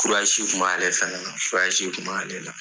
kun b'ale fɛnɛ na kun b'ale la.